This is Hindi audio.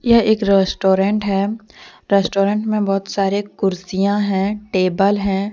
यह एक रेस्टोरेंट है रेस्टोरेंट में बहुत सारे कुर्सियां हैं टेबल हैं।